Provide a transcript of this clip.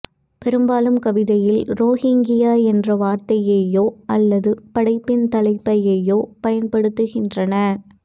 பெரும்பாலும் கவிதையில் ரோஹிங்கியா என்ற வார்த்தையையோ அல்லது படைப்பின் தலைப்பையோ பயன்படுத்துகின்றன